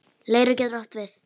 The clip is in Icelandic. Leirá getur átt við